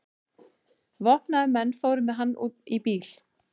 Vopnaðir menn fóru með hann í bíl.